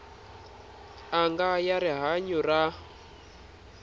n anga ya rihanyu ra